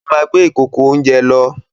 Ó máa gbé ìkòkò-oúnjẹ lọ.